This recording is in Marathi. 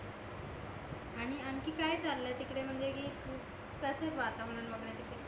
आणखी काय चालाय तिकडे म्हणजे कि कशे वातावरण वगेरे तिकडे